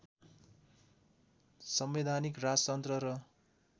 संवैधानिक राजतन्त्र र